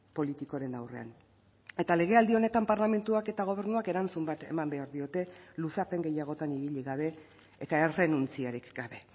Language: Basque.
politikoren aurrean eta legealdi honetan parlamentuak eta gobernuak erantzun bat eman behar diote luzapen gehiagotan ibili gabe eta errenuntziarik gabe